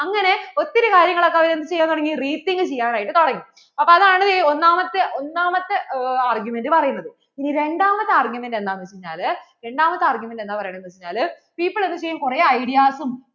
അതിൻ്റെ കാര്യങ്ങൾ ഒക്കെ അവർ എന്ത് ചെയ്യാന്‍ തുടങ്ങി rethink ചെയ്യാനായിട്ട് തുടങ്ങി അപ്പോൾ അതാണ് ദേ ഒന്നാമത്തെ ഒന്നാമത്തെ argument പറയുന്നത് ഇനി രണ്ടാമത്തെ argument എന്താണ് വെച്ചാല് രണ്ടാമത്തേ argument എന്താ പറയുന്നേ എന്ന് വെച്ചാൽ people അതുചെയ്യാൻ കുറേ ideas ഉം